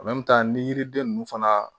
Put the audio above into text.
ni yiriden ninnu fana